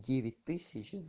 девять тысяч